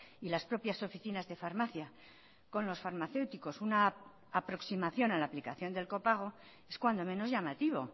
y las propias oficinas de farmacia con los farmacéuticos una aproximación a la aplicación del copago es cuando menos llamativo